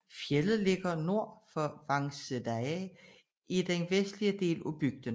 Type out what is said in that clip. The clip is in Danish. Fjeldet ligger nord for Vágseiði i den vestlige del af bygden